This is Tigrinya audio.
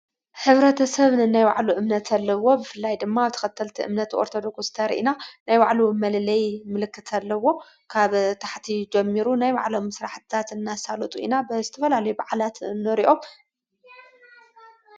ኅብረተ ሰብኒ ናይ ዋዕሉ እምነትኣለዎ ብፍላይ ድማ ኣብ ተኸተልቲ እምነት ወርተዶጉስተርኢና ናይባዕሉ መልለይ ምልክት ኣለዎ ካብ ታሕቲ ጀሚሩ ናይ ባዕሎም ምስራ ሕዳት እናሣሎጡ ኢና ብስትፈልለይ ባዕላት ንሪኦ።